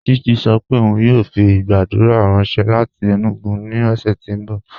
Chichi sọ́ pé óun yóò fi gbàgùdà ranṣẹ láti Enugu ni ọṣẹ̀ ti n bọ̀.